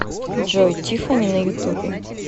джой тиффани на ютубе